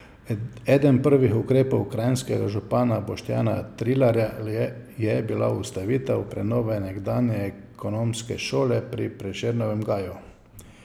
Eden prvih ukrepov kranjskega župana Boštjana Trilarja je bila ustavitev prenove nekdanje ekonomske šole pri Prešernovem gaju.